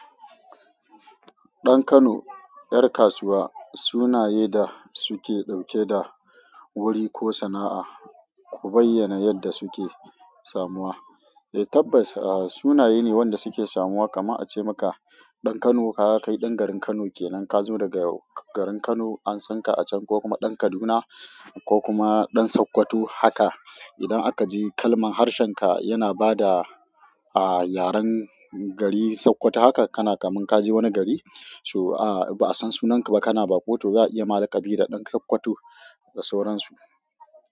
Ɗan Kano, ƴar kasuwa, sunaye da suke ɗauke da wuri ko sana'a, ku bayyana yadda suke samuwa. Eh tabbas, a sunaye ne wanda suke samuwa kaman a ce maka ɗan Kano kaga kai ɗan garin Kano kenan, ka zo daga garin Kano an san ka a can ko kuma ɗan Kaduna ko kuma ɗan Sokoto haka idan aka ji kalman harshen ka yana bada a yaren gari Sokoto haka kana kaman ka je wani gari, so a ba'a san sunan ka ba kana baƙo to za a iya ma laƙabi da ɗan Sokoto da sauransu.